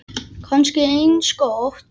Kannski eins gott.